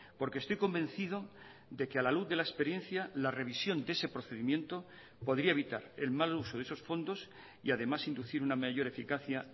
porque estoy convencido de que a la luz de la experiencia la revisión de ese procedimiento podría evitar el mal uso de esos fondos y además inducir una mayor eficacia